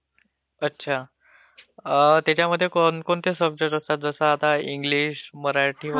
त्याच्यामध्ये कोणते सब्जेक्ट असतात...जस आता इंग्लिश, मराठी किव्हा हिन्दी असे त्यांना पैन राहतात का?